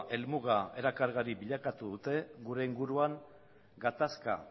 helmuga erakargarri bilakatu dute gure inguruan gatazka